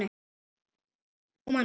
og Máni.